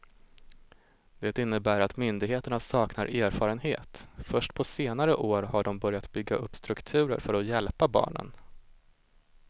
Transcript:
Det innebär att myndigheterna saknar erfarenhet, först på senare år har de börjat bygga upp strukturer för att hjälpa barnen.